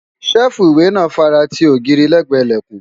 ṣẹ́ẹ̀fù ìwé náà fare ti ogiiri lẹ́gbẹ̀ẹ́ ìlẹ̀kùn